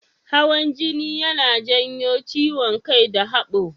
Hawan jini yana janyo ciwon kai da haɓo.